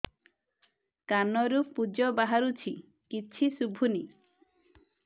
କାନରୁ ପୂଜ ବାହାରୁଛି କିଛି ଶୁଭୁନି